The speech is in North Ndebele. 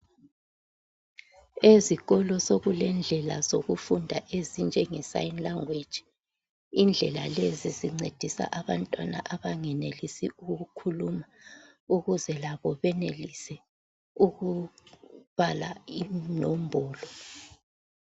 Ezikolo sokulezindlela zokufunda ezinjenge sign language. Indlela lezi zincedisa abantwana abangenelisi ukukhuluma ukuze labo benelise ukubala inombolo.